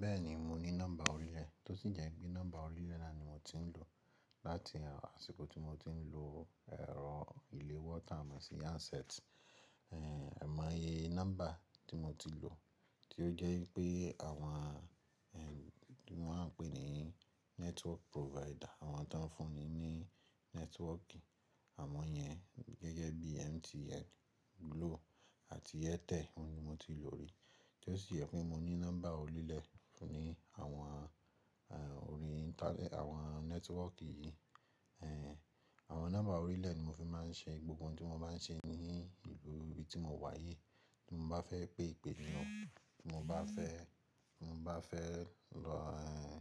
Bẹ́ẹ̀ ni, mo ní nọ́mbà orílẹ̀ tó sì jẹ́ pé nọ́mbà orílẹ̀ náà ni mo ti ń lò láti àsìkò tí mo ti ń lò ẹ̀rọ ilé wọ́ tá mo sí handset. Ẹ̀ mọ iye nọ́mbà tí mo ti lò tí ó jẹ́ wípé àwọn eh tí wọ́n máa ń pè ní network provider àwọn tó ń fún ni ní nẹ́tíwọ́kì àmọ́ yẹn gẹ́gẹ́ bí MTN, Glo àti Airtel ni mo ti lò rí tí ó sì jẹ́ pé mo ní nọ́mbà orílẹ̀ ní àwọn eh orí intanẹ́ẹ̀tì àwọn nẹ́tíwọ́kì yìí. Eh àwọn nọ́mbà orílẹ̀ ni mo fi máa ń ṣe gbogbo ohun tí mo bá ń ṣe ní ìlú ibi tí mo wà yìí. Tí mo bá fẹ́ pe ìpè ni o, tí mo bá fẹ́ tí mo bá fẹ́ lọ eh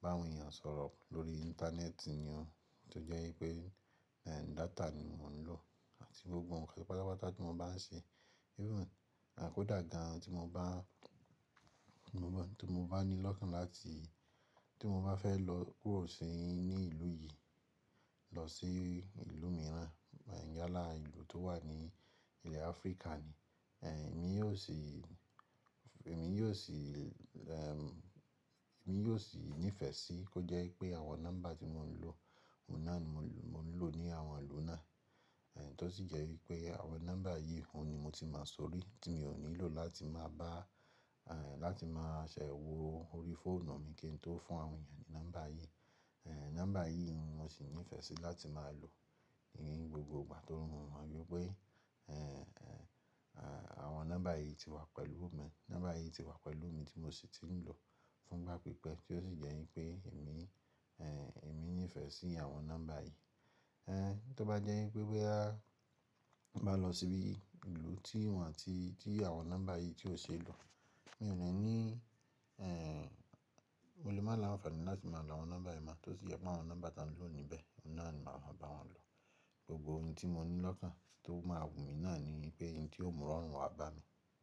bá àwọn èèyàn sọ̀rọ̀ lórí intanẹ́ẹ̀tì ni o tí ó jẹ́ wípé data ni mo ń lò àti gbogbo ǹkan pátá pátá tí mo bá ń ṣe. Àkódàgan tí mo bá tí mo bá ní lọ́kàn láti tí mo bá fẹ́ lọ kúrò sí ní ìlú yìí lọ sí ìlú mìíràn, yálà ìlú tó wà ní ilẹ̀ africa ni, eh èmi yóò sì èmi yóò sì eh mi yóò sì nífẹ̀ẹ́ sí kó jẹ́ wípé àwọn nọ́mbà tí mò ń lò, òun náà ni mò ń lò ní àwọn ìlú náà. Eh tí ó sì jẹ́ wípé àwọn nọ́mbà yìí, òun ni mo ti máa sórí tí mi ò nílò láti máa bá eh láti máa ṣẹ́wọ̀ orí fóònù mi kí n tó fún àwọn èèyàn ní nọ́mbà yìí. Eh nọ́mbà yìí ni mo sì nífẹ̀ẹ́ sí láti máa lò ní gbogbo ìgbà torí mo mọ wípé eh eh àwọn nọ́mbà yìí ti wà pẹ̀lú mi. Nọ́mbà yìí ti wà pẹ̀lú mi tí mo sì ti ń lò fún gbápípẹ́ tí ó sì jẹ́ wípé èmi eh èmi nífẹ̀ẹ́ sí àwọn nọ́mbà yìí. Eh tí ó bá jẹ́ wípé bóyá mo bá lọ síbi ìlú tí wọ́n àti tí àwọn nọ́mbà yìí tí ò ṣe é lò, mi ò ní ní eh mo lè máa ní ànfàní láti máa lo àwọn nọ́mbà yìí mọ́, tó sì jẹ́ pé àwọn nọ́mbà tí à ń lò níbẹ̀, òun náà ni màá mo bá wọn lò. Gbogbo ohun tí mo ní lọ́kàn tí ó máa wù mí náà ni pé n tí ó mú ìrọ̀rùn wa bá mi.